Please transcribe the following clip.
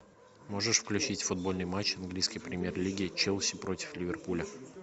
можешь включить футбольный матч английской премьер лиги челси против ливерпуля